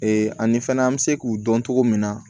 ani fɛnɛ an bɛ se k'u dɔn cogo min na